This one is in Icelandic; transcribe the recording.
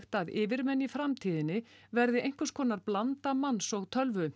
að yfirmenn í framtíðinni verði einhvers konar blanda manns og tölvu